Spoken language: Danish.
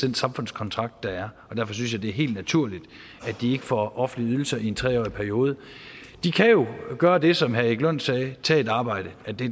den samfundskontrakt der er og derfor synes jeg at det er helt naturligt at de ikke får offentlige ydelser i en tre årig periode de kan jo gøre det som herre erik lund sagde tage et arbejde